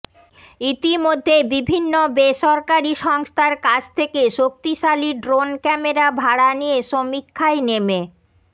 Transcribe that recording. ইতিমধ্যেই বিভিন্ন বেসরকারি সংস্থার কাছ থেকে শক্তিশালী ড্রোন ক্যামেরা ভাড়া নিয়ে সমীক্ষায় নেমে